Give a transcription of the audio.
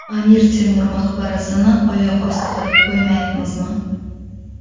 Amir Temur maqbarasini oyoq osti qilib qo‘ymayapmizmi?.